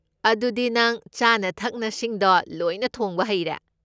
ꯑꯗꯨꯗꯤ ꯅꯪ ꯆꯥꯅ ꯊꯛꯅꯁꯤꯡꯗꯣ ꯂꯣꯏꯅ ꯊꯣꯡꯕ ꯍꯩꯔꯦ?